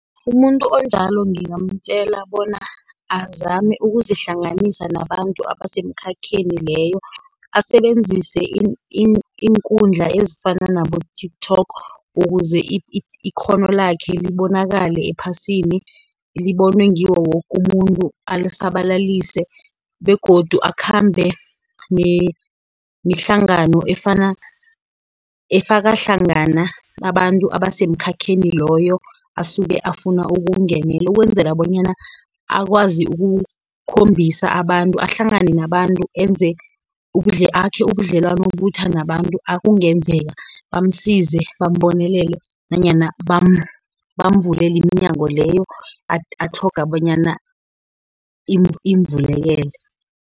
Umuntu onjalo ngingamtjela bona azame ukuzihlanganisa nabantu abasemkhakheni leyo, asebenzise iinkundla ezifana nabo-TikTok, ukuze ikghono lakhe libonakale ephasini. Libonwe ngiwo woke umuntu alisabalalise, begodu akhambe nemihlangano efaka hlangana abantu abasemikhakheni loyo, asuke afuna ukuwungenela, ukwenzela bonyana akwazi ukukhombisa abantu, ahlangane nabantu akhe ubudlelwano obutjha nabantu ekungenzeka bamsize, bambonelele, nanyana bamvulele iminyango leyo, atlhoga bonyana imvulekele.